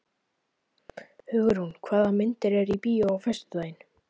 Hugrún, hvaða myndir eru í bíó á föstudaginn?